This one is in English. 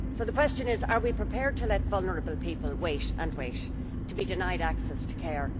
The question is are we prepared to let vulnerable people wait and wait, to be denied access to care.